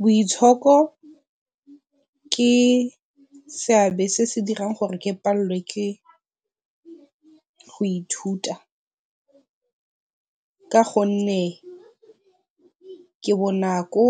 Boitshoko ke seabe se se dirang gore ke palelelwe ke go ithuta ka gonne ke bonako